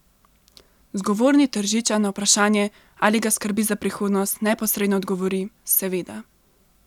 Zgovorni Tržičan na vprašanje, ali ga skrbi za prihodnost, neposredno odgovori: "Seveda.